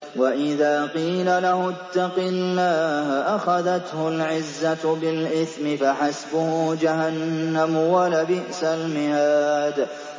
وَإِذَا قِيلَ لَهُ اتَّقِ اللَّهَ أَخَذَتْهُ الْعِزَّةُ بِالْإِثْمِ ۚ فَحَسْبُهُ جَهَنَّمُ ۚ وَلَبِئْسَ الْمِهَادُ